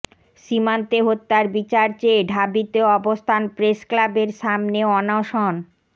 সীমান্তে হত্যার বিচার চেয়ে ঢাবিতে অবস্থান প্রেসক্লাবের সামনে অনশন